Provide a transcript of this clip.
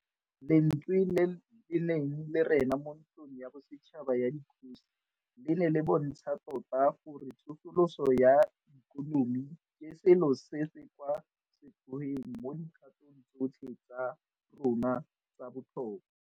Lentswe le le neng le rena mo Ntlong ya Bosetšhaba ya Dikgosi le ne le bontsha tota gore tsosoloso ya ikonomi ke selo se se kwa setlhoeng mo dikgatong tsotlhe tsa rona tsa botlhokwa.